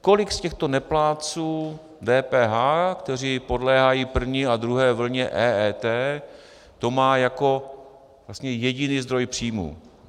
Kolik z těchto neplátců DPH, kteří podléhají první a druhé vlně EET, to má jako jediný zdroj příjmů?